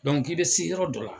Dɔnku k'i be se yɔrɔ dɔ la